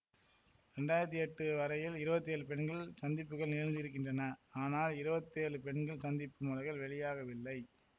இரண்டாயிரத்தி எட்டு வரையில் இருவத்தேழு பெண்கள் சந்திப்புகள் நிகழ்ந்திருக்கின்றன ஆனால் இருவத்தி ஏழு பெண்கள் சந்திப்பு மலர்கள் வெளியாகவில்லை